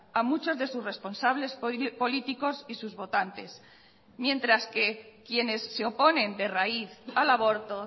a muchos de sus responsables políticos y sus votantes mientras que quienes se oponen de raíz al aborto